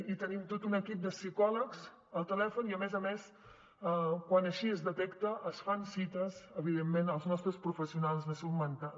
i tenim tot un equip de psicòlegs al telèfon i a més a més quan així es detecta es fan cites evidentment als nostres professionals de salut mental